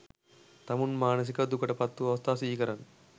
තමුන් මානසිකව දුකට පත්වූ අවස්ථා සිහිකරන්න.